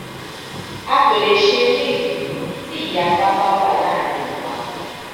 a kò lè ṣe eléyìí tí ìyapa bá wà láàrin wa